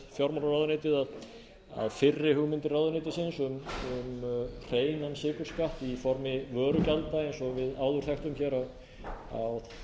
við fjármálaráðuneytið að fyrri hugmyndir ráðuneytisins um hreinan sykurskatt i formi vörugjalda eins og við áður þekktum hér á